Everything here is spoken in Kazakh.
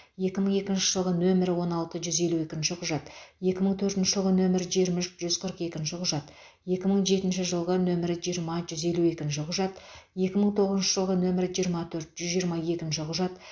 екі мың екінші жылғы нөмірі он алты жүз елу екінші құжат екі мың төртінші нөмірі жиырма үш жүз қырық екінші құжат екі мың жетінші жылғы нөмірі жиырма жүз елу екінші құжат екі мың тоғызыншы жылғы нөмірі жиырма төрт жүз жиырма екінші құжат